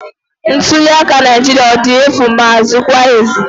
Ntuliaka Naijiria ọ dị efu maa zikwa ezi?